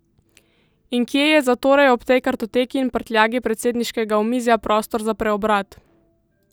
In kje je zatorej ob tej kartoteki in prtljagi predsedniškega omizja prostor za preobrat?